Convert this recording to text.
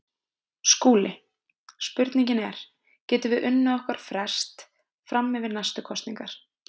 SKÚLI: Spurningin er: Getum við unnið okkur frest fram yfir næstu kosningar.